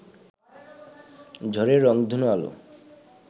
ঝাড়ের রংধনু আলো